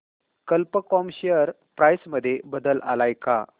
कल्प कॉम share price मध्ये बदल आलाय का